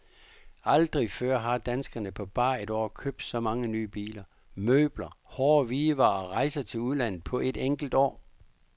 Aldrig før har danskerne på bare et år købt så mange nye biler, møbler, hårde hvidevarer og rejser til udlandet på et enkelt år.